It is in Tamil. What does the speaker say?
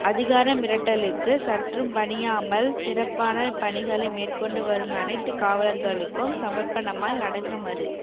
அதிகார மிரட்டலுக்கு சற்றும் பணியாமல் சிறப்பான பணிகளை மேற்கொண்டு வரும் அனைத்து காவலர்களுக்கும் சமர்ப்பணமாய் அடங்க மறு